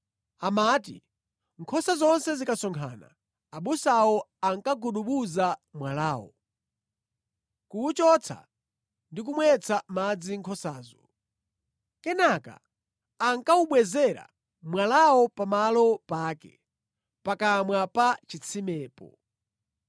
Amati nkhosa zonse zikasonkhana, abusawo ankagudubuza mwalawo, kuwuchotsa ndi kumwetsa madzi nkhosazo. Kenaka ankawubwezera mwalawo pamalo pake, pakamwa pa chitsimepo.